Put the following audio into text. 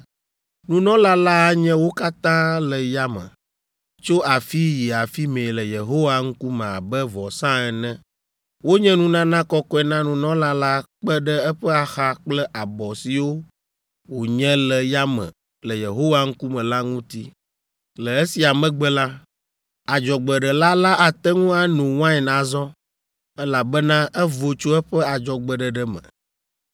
Nunɔla la anye wo katã le yame, tso afii yi afi mɛ le Yehowa ŋkume abe vɔsa ene. Wonye nunana kɔkɔe na nunɔla la kpe ɖe eƒe axa kple abɔ siwo wònye le yame le Yehowa ŋkume la ŋuti. Le esia megbe la, adzɔgbeɖela la ate ŋu ano wain azɔ, elabena evo tso eƒe adzɔgbeɖeɖe me.